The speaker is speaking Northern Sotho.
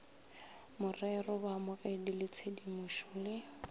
morero baamogedi ba tshedimošo le